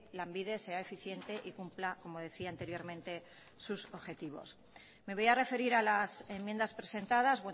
lanbide sea eficiente y cumpla como decía anteriormente sus objetivos me voy a referir a las enmiendas presentadas